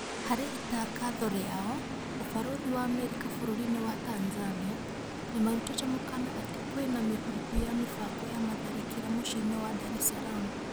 Hari itangatho rĩao, ũbarũthi wa Amerika bũrũri-inĩ wa Tanzania nĩmarutĩte mũkana atĩ kwĩna mĩhuhu ya mĩbango ya matharĩkĩra muciĩ-inĩ wa Dar es Salaam